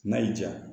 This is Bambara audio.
N'a y'i diya